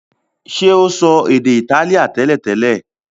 ṣe o so èdè Itálíà teletele?